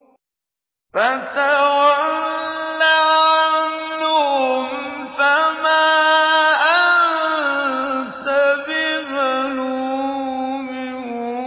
فَتَوَلَّ عَنْهُمْ فَمَا أَنتَ بِمَلُومٍ